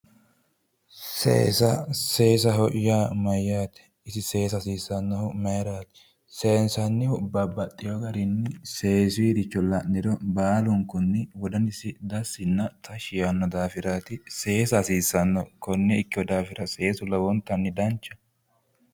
seesa seesaho yaa mayyaate seesa seensannihu mayiraati? seensannihu babbaxxino garinni seesuyiricho la'niro baalunkunni wodanisi tashshi yaanno daafiraati seesa hasiissanno konne ikkino daafira seesu lowontanni danchaho.